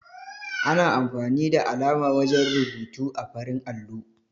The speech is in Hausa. Ana amfani da alama wajen rubutu ã farin allo.